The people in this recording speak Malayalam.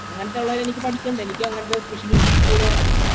അങ്ങനത്തെയുള്ളത് എനിക്ക് പഠിക്കണ്ട എനിക്ക് അങ്ങനത്തെ school ഓ